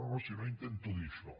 no si no intento dir això